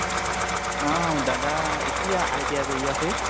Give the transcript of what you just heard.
অ । দাদা, এতিয়া ITI কৰি আছে ।